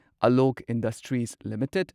Alok industries limited